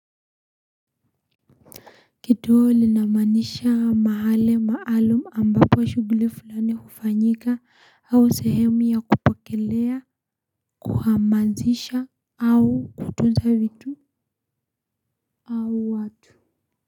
Kituo linamaanisha mahali maalum ambako wa shuguli fulani hufanyika au sehemu ya kupokelea kuhamazisha au kutuza vitu au watu.